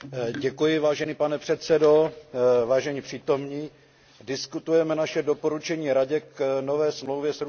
Vážený pane předsedo, vážení přítomní, diskutujeme naše doporučení Radě k nové smlouvě s Ruskem.